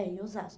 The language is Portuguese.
É, em